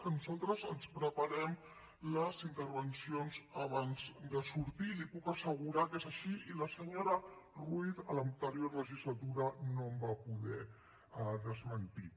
que nosaltres ens preparem les intervencions abans de sortir i li puc assegurar que és així i la senyora ruiz a l’anterior legislatura no em va poder desmentir